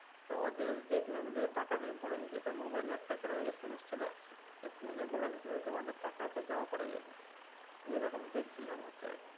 তো ওদের দেখলাম যে টাকা ভরে দিচ্ছে তো মোবাইলে একটা করে এসএমএস চলে আসছে। এসএমএসে বলে দিচ্ছে তোমাদের টাকা এয়াতে জমা পরে গেছে। এরকম দেখছিলাম যে হচ্ছে এখন।